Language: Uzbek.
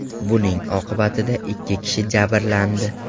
Buning oqibatida ikki kishi jabrlandi.